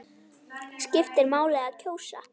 Skiptir máli að kjósa?